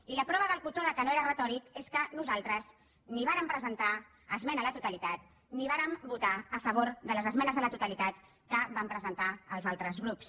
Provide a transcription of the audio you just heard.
i la prova del cotó que no era retòric és que nosaltres ni vàrem presentar esmena a la totalitat ni vàrem votar a favor de les esmenes a la totalitat que van presentar els altres grups